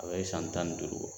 A bɛ san tan ni duuru bɔ.